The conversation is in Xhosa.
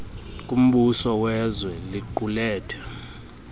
kumbuso wezwe liqulethe